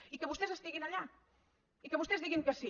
i que vostès estiguin allà i que vostès diguin que sí